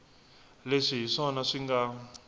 leswi hi swona swi nga